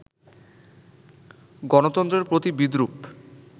গণতন্ত্রের প্রতি বিদ্রুপ